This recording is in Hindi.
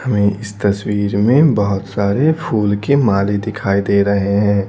हमें इस तस्वीर में बहुत सारे फूल के माले दिखाई दे रहे हैं।